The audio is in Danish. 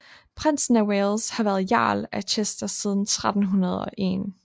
Prinsen af Wales har været Jarl af Chester siden 1301